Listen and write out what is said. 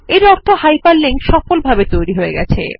এর অর্থ hyperlink সফলভাবে তৈরী হয়ে গেছে